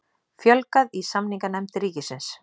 Fjölgað í samninganefnd ríkisins